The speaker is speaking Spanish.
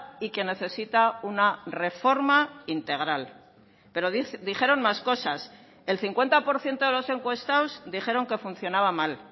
y que necesita una reforma integral pero dijeron más cosas el cincuenta por ciento de los encuestados dijeron que funcionaba mal